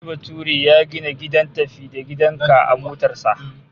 Wani bature ya gina gidan tafi-da-gidan-ka a motar bas